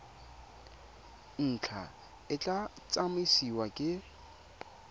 ntlha e tla tsamaisiwa ke